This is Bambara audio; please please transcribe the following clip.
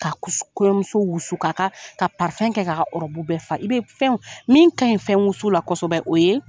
Ka kuse , ka kɔɲɔmuso wusu, k'a ka , ka kɛ k'a ka ɔrɔbu bɛɛ fa. I be fɛnw min ka ɲi fɛn wusu la kosɛbɛ o ye